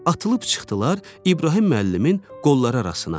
Atılıb çıxdılar İbrahim müəllimin qolları arasına.